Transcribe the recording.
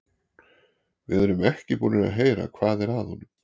Við erum ekki búnir að heyra hvað er að honum.